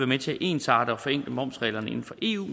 med til at ensarte og forenkle momsreglerne inden for eu